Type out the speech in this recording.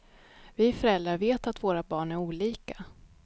Vi föräldrar vet att våra barn är olika.